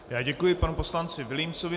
Já děkuji panu poslanci Vilímcovi.